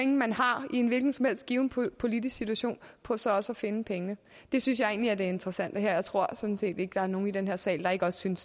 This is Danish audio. man har i en hvilken som helst given politisk situation på så også at finde pengene det synes jeg egentlig er det interessante her og jeg tror sådan set ikke der er nogen i den her sal der ikke også synes